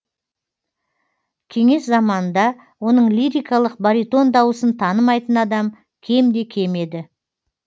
кеңес заманында оның лирикалық баритон дауысын танымайтын адам кемде кем еді